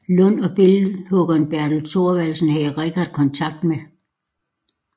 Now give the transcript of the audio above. Lund og billedhuggeren Bertel Thorvaldsen havde Richardt kontakt med